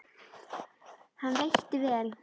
Hann veitti vel